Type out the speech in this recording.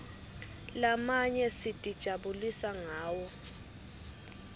lamanye sitijabulisa ngawo